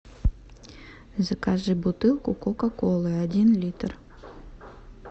закажи бутылку кока колы один литр